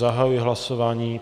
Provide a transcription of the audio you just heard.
Zahajuji hlasování.